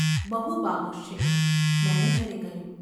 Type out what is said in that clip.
બહુ બાહોશ છે. ’ મેનેજરે કહ્યું.